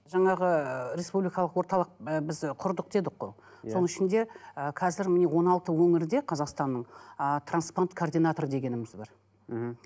жаңағы республикалық орталық і біз құрдық дедік қой соның ішінде і қазір міне он алты өңірде қазақстанның ы трансплант координаторы дегеніміз бар мхм